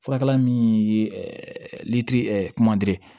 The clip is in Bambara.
Furakɛla min ye litiri kumade